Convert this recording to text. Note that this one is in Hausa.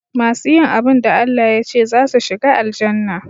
Masu yin abun da ALLAH yace zasu shiga Aljannah